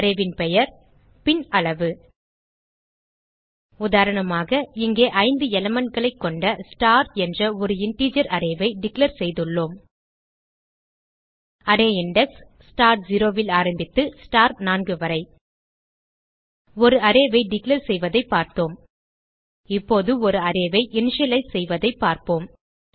arrayன் பெயர் பின் அளவு உதாரணமாக இங்கே 5 elementகளைக் கொண்ட ஸ்டார் என்ற ஒரு இன்டிஜர் அரே ஐ டிக்ளேர் செய்துள்ளோம் அரே இண்டெக்ஸ் ஸ்டார் 0 ல் ஆரம்பித்து ஸ்டார் 4 வரை ஒரு arrayஐ டிக்ளேர் செய்வதைப் பார்த்தோம் இப்போது ஒரு arrayஐ இனிஷியலைஸ் செய்வதைக் காணலாம்